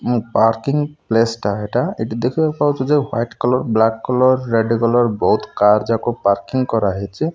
ମୁଁ parking place ଟା ଏଇଟା ଏଠି ଦେଖିବାକୁ ପାଉଛୁ ଯେ white colour black colour red colour ବହୁତ୍ କାର ଯାକ ପାର୍କିଂ କରାହେଇଛି।